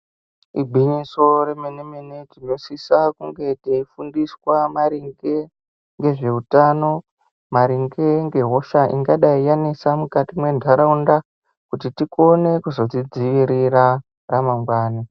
Igwinyiso remenemene tinosisa kunge teifundiswa maringe ngezveutano, maringe ngehosha ingadai yanesa mukati mwentaraunda kuti tikone kuzodzidziwirira ramangwani.